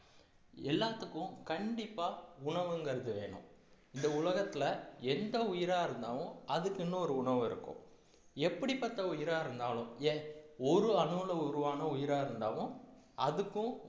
எல்லாத்துக்கும் கண்டிப்பா உணவுங்கிறது வேணும் இந்த உலகத்துல எந்த உயிரா இருந்தாலும் அதுக்குன்னு ஒரு உணவு இருக்கும் எப்படிப்பட்ட உயிரா இருந்தாலும் ஏன் ஒரு அணுல உருவான உயிரா இருந்தாலும் அதுக்கும்